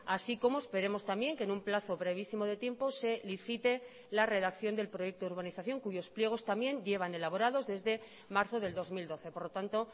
así como esperemos también que en un plazo brevísimo de tiempo se licite la redacción del proyecto de urbanización cuyos pliegos también llevan elaborados desde marzo del dos mil doce por lo tanto